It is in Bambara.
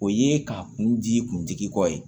O ye ka kun di kuntigi kɔ ye